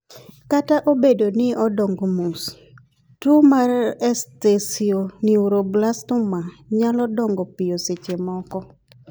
kata obedo ni odongo mos, tuo mar esthesioneuroblastoma nyalo dongo piyo seche moko